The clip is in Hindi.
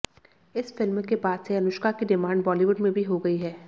इस फिल्म के बाद से अनुष्का की डिमांड बॉलीवुड में भी हो गई है